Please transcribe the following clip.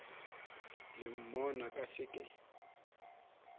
le monna ka se ke